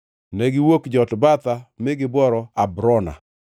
Negiwuok Jotbatha mi gibworo Abrona.